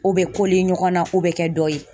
O bɛ ɲɔgɔn na, o bɛ kɛ dɔ ye.